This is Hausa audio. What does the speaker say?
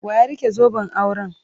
Wa ya rike zoben auren?